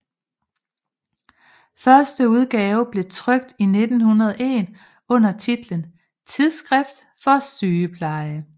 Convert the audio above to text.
Første udgave blev trykt i 1901 under titlen Tidsskrift for Sygepleje